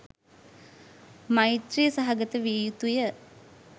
මෛත්‍රී සහගත විය යුතුය.